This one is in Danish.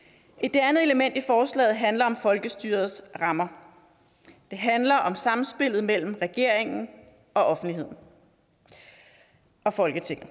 det andet element i forslaget handler om folkestyrets rammer det handler om samspillet mellem regeringen og offentligheden og folketinget